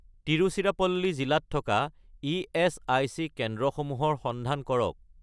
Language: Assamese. তিৰুচিৰাপল্লী জিলাত থকা ইএচআইচি কেন্দ্ৰসমূহৰ সন্ধান কৰক